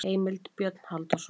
Heimild: Björn Halldórsson.